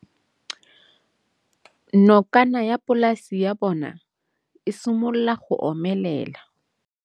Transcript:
Nokana ya polase ya bona, e simolola go omelela.